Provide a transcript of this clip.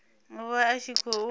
u vha a tshi khou